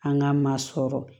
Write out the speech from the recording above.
An ka maa sɔrɔ